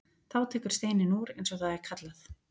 Þá tekur steininn úr eins og það er kallað.